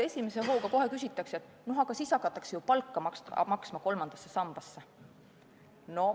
Esimese hooga küsitakse kohe, et aga siis hakatakse ju palka maksma kolmandasse sambasse.